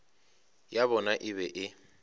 ya bona e be e